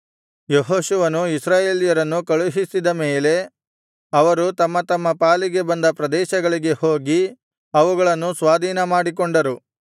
ಯೆಹೋಶುವನು ಇಸ್ರಾಯೇಲ್ಯರನ್ನು ಕಳುಹಿಸಿದ ಮೇಲೆ ಅವರು ತಮ್ಮ ತಮ್ಮ ಪಾಲಿಗೆ ಬಂದ ಪ್ರದೇಶಗಳಿಗೆ ಹೋಗಿ ಅವುಗಳನ್ನು ಸ್ವಾಧೀನಮಾಡಿಕೊಂಡರು